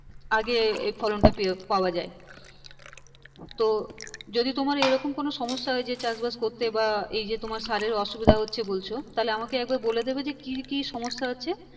আগে এই ফলনটা পেয়ে, পাওয়া যায় তো যদি তোমার এইরকম কোনো সমস্যা হয় যে চাষবাস করতে বা এই যে তোমার সারের অসুবিধা হচ্ছে বলছো তাহলে আমাকে একবার বলে দিবে যে কি কি সমস্যা হচ্ছে